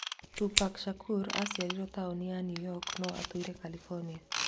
Tupac Shakur aciarĩirwo taoni ya New York, no atũire California